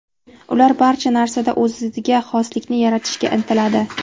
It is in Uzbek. Ular barcha narsada o‘ziga xoslikni yaratishga intiladi.